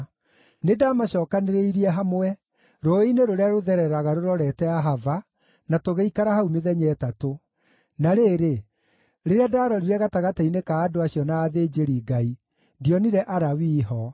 Nĩndamacookanĩrĩirie hamwe rũũĩ-inĩ rũrĩa rũthereraga rũrorete Ahava, na tũgĩikara hau mĩthenya ĩtatũ. Na rĩrĩ, rĩrĩa ndarorire gatagatĩ-inĩ ka andũ acio na athĩnjĩri-Ngai, ndionire Alawii ho.